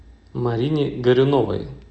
марине горюновой